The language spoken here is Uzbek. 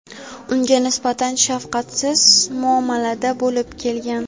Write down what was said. unga nisbatan shafqatsiz muomalada bo‘lib kelgan.